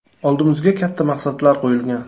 Oldimizga katta maqsadlar qo‘yilgan.